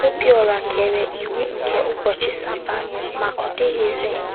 Obiọra kere iwu nke ụbọchị Sabbath ma ọ dịghịzị